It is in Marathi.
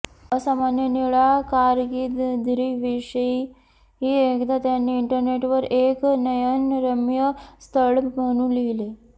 असामान्य निळा कारकीर्दीविषयी एकदा त्यांनी इंटरनेटवर एक नयनरम्य स्थळ म्हणून लिहिले